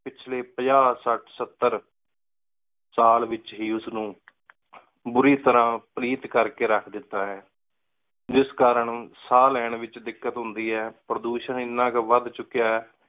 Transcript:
ਪਿਛਲੀ ਸਾਲ ਏਚ ਹੇ ਉਸ ਨੂ ਬੁਰੀ ਤਰ੍ਹਾ ਪਲੀਤ ਕਰ ਦਿਤਾ ਹੈ ਜਿਸ ਕਾਰਨ ਸਾਹ ਲੈਣ ਏਚ ਦਿਕ਼ਕ਼ਾਤ ਹੁੰਦੀ ਹੈ ਪਰ੍ਦੋਸ਼ਨ ਇੰਨਾ ਕੋ ਵਧ ਚੁਕ੍ਯ ਹੈ